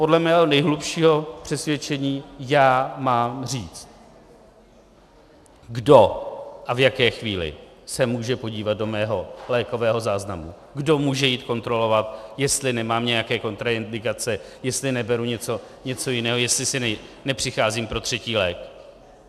Podle mého nejhlubšího přesvědčení já mám říci, kdo a v jaké chvíli se může podívat do mého lékového záznamu, kdo může jít kontrolovat, jestli nemám nějaké kontraindikace, jestli neberu něco jiného, jestli si nepřicházím pro třetí lék.